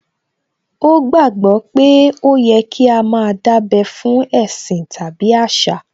Ó gbàgbó pé ó yẹ kí á má a dábẹ́ fún ẹ̀sìn tàbí àṣà